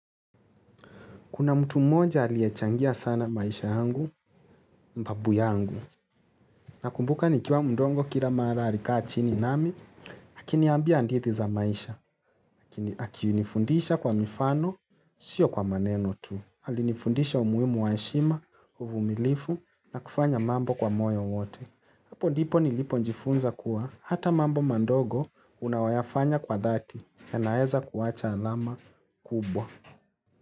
Kuna mtu mmoja aliyechangia sana maisha yangu, babu yangu. Nakumbuka nikiwa mdogo kila mara alikaa chini nami, akiniambia hadithi za maisha. Akinifundisha kwa mifano, sio kwa maneno tu. Alinifundisha umuhimu wa heshima, uvumilivu, na kufanya mambo kwa moyo wote. Hapo ndipo nilipo jifunza kuwa hata mambo madogo unaoyafanya kwa dhati yanaweza kuwacha alama kubwa.